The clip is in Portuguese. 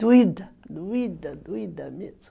Doída, doída, doída mesmo.